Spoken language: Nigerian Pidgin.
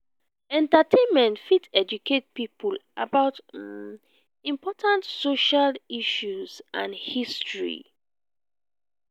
entertainment fit educate people about um important social issues and history.